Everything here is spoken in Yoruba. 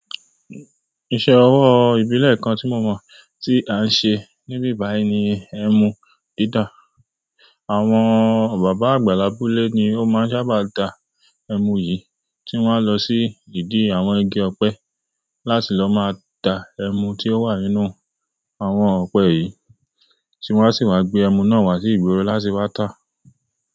Ìṣe ọwọ́ ìbílẹ̀ kan tí mo mọ̀ tí à ń ṣe níbí báyìí ni ẹmu ti ta àwọn bàbá àgbà labúlé ni ó máa ń sábà da ẹmu yìí tí wọ́n á lọ sí gidi àwọn igi ọ̀pẹ láti lọ máa da ẹmu tí ó wà nínú àwọn ọ̀pẹ yìí, tí wọ́n sì máa gbé ẹmu náà wá sí ìgboro láti wá tà.